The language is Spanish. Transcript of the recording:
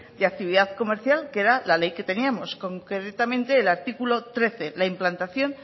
de actividad comercial que era la ley que teníamos concretamente el artículo trece la implantación